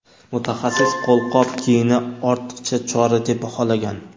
Mutaxassis qo‘lqop kiyini ortiqcha chora deb baholagan.